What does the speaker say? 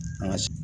An ka